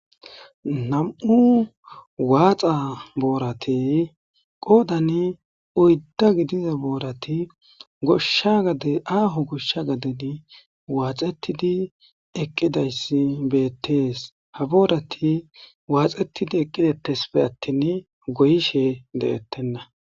nam7u waaxa boorati qoodan uydda gidiza boorati goshsha gadeaaho goshsha gadedi waaxettidi eqqidayssi beettees ha boorati waaxetidi eqqidetesfe attin goyishe de7ettenna